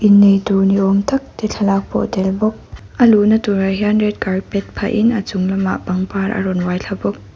innei tur ni awm tak te thlalak pawh a tel bawk a luhna turah hian red carpet phah in a chung lamah pangpar a rawn uai thla bawk.